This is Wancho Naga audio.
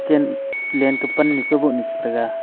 chen len kah pannu kaubohnu chetaiga.